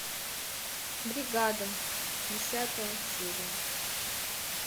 бригада десятая серия